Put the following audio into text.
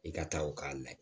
I ka taa u k'a layɛ